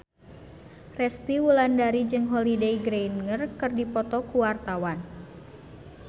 Resty Wulandari jeung Holliday Grainger keur dipoto ku wartawan